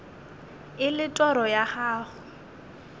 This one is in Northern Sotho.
e le toro ya gago